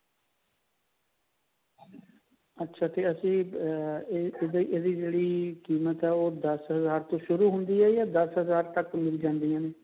ਅੱਛਾ ਤੇ ਅਸੀਂ ਅਹ ਇਹਦੀ ਜਿਹੜੀ ਕੀਮਤ ਹੈ ਉਹ ਦਸ ਹਜ਼ਾਰ ਤੋਂ ਸ਼ੁਰੂ ਹੁੰਦੀ ਹੈ ਜਾ ਦਸ ਹਜਾਰ ਤਕ ਮਿਲ ਜਾਂਦੀ ਹੈ